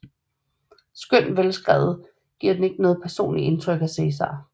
Skønt velskrevet giver den ikke noget personligt indtryk af Cæsar